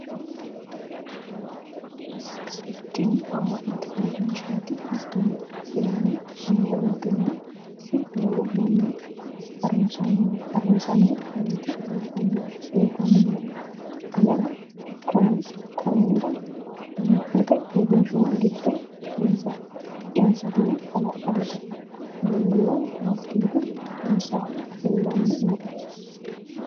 tini amma'note uurinshshaati hattino isilaamu amma'nooti ise low manni harunsanni nooti leeltanni nooe anera konnira amma'note uurinshuwa gido insatino hala'ladote minu woy masigidu insahuno leellanni nooe